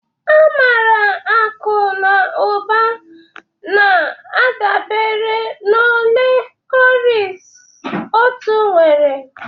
A maara akụ na ụba na-adabere na ole cowries otu nwere